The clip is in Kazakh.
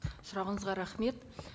сұрағыңызға рахмет